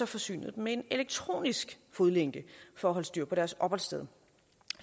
forsynede dem med en elektronisk fodlænke for at holde styr på deres opholdssted